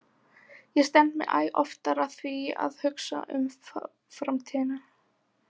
Ég stend mig æ oftar að því að hugsa um framtíðina.